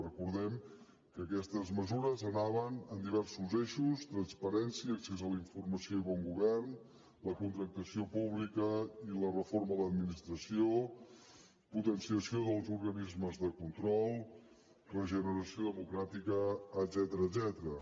recordem que aquestes mesures anaven en diversos eixos transparència accés a la informació i bon govern la contractació pública i la reforma de l’administració potenciació dels organismes de control regeneració democràtica etcètera